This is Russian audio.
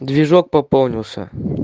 движок пополнился